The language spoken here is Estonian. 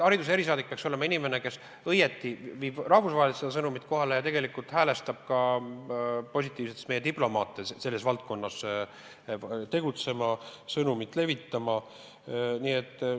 Hariduse erisaadik peaks olema inimene, kes viib rahvusvaheliselt seda sõnumit kohale ja häälestab ka meie diplomaate selles valdkonnas tegutsema, sõnumit levitama.